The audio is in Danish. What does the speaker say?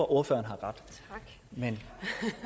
ordføreren har ret men